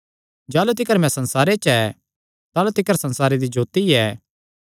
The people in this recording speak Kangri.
जाह़लू तिकर मैं संसारे च ऐ ताह़लू तिकर संसारे दी जोत्ती ऐ